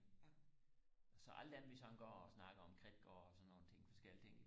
så alle dem vi sådan går og snakker om Kridtgård og sådan nogle ting forskellige ting